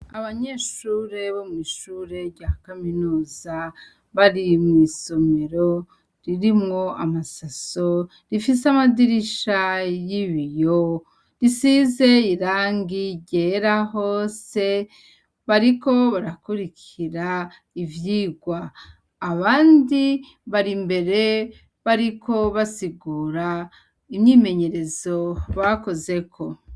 Abanyeshure bo mw'ishure rya kaminuza, bari mwisomero ririmwo amasaso, rifise amadirisha y'ibiyo risize irangi ryera hose bariko barakurikira ivyirwa. Abandi bar'imbere bariko basigura inyimenyerezo bakozeko.